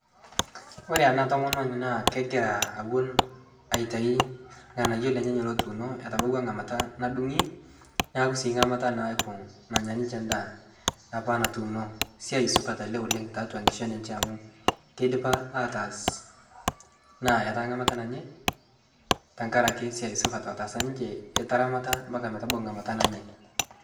kore ana tomononii naa kegiraa awon aitai lghanayoo lenyenyee lotuuno etabauwa nghamata nadungii naaku sii nghamataa naaku nanyaa ninshe ndaa apaa natuuno siai supat alee oleng taatua nkishon enshee amu keidipa apaa ataas naa etaa nghamata nanyai tankarake siai supat otaasa ninshee etaramata mpaka metabau nghamataa nanyai